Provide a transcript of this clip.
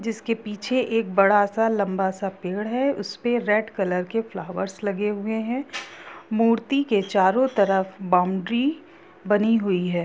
जिसके पीछे एक बड़ा सा लंबा सा पेड़ है उसपे रेड कलर के फ्लावर्स लगे है हुए हैं मूर्ति के चारो तरफ बाउंड्री बनी हुई है।